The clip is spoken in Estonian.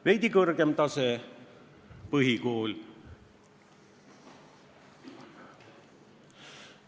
Veidi kõrgem tase – põhikool.